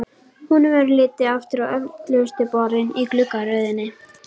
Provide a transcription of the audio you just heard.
Honum verður litið aftur á öftustu borðin í gluggaröðinni.